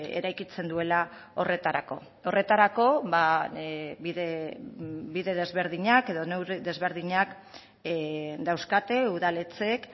eraikitzen duela horretarako horretarako bide desberdinak edo neurri desberdinak dauzkate udaletxeek